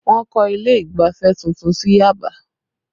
Wọ́n kọ́ ilé ìgbafẹ́ tuntun sí Yaba